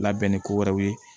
Labɛn ni ko wɛrɛw ye